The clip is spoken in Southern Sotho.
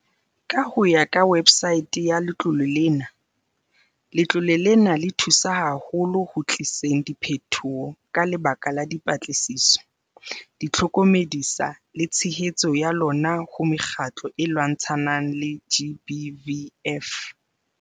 Ka ho ya ka websaete ya letlole lena, letlole lena le thusa haholo ho tliseng diphetoho ka lebaka la dipatlisiso, ditlhokome-disa le tshehetso ya lona ho mekgatlo e lwantshanang le GBVF.